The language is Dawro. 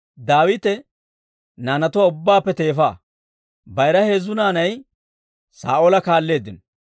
Daawite naanatuwaa ubbaappe teefa. Bayira heezzu naanay Saa'oola kaalleeddino;